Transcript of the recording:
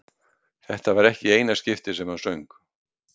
Þetta var ekki í eina skiptið sem hann söng.